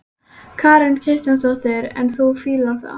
Karen Kjartansdóttir: En þú fílar lagið?